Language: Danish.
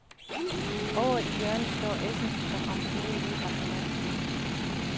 Ovre i hjørnet står essen, som om smeden lige har forladt stedet.